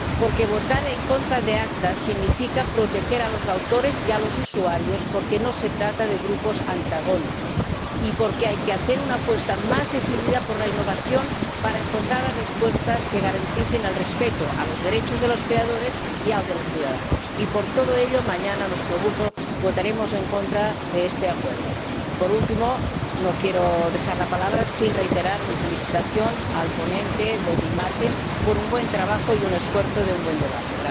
Porque votar en contra del ACTA significa proteger a los autores y a los usuarios, porque no se trata de grupos antagónicos, y porque hay que hacer una apuesta más decidida por la innovación para encontrar las respuestas que garanticen el respeto de los derechos de los creadores y de los de los ciudadanos. Y, por todo ello, mañana nuestro Grupo votará en contra de este Acuerdo. Por último, no quiero dejar la palabra sin reiterar mi felicitación al ponente, David Martin, por su buen trabajo y el esfuerzo por un buen debate.